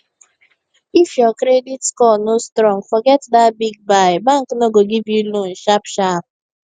if your credit score no strong forget that big buy bank no go give you loan sharp sharp